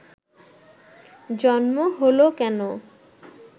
জন্ম হলো কেন